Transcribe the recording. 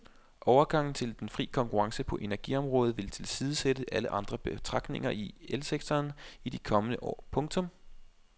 Overgangen til den fri konkurrence på energiområdet vil tilsidesætte alle andre betragtninger i elsektoren i de kommende år. punktum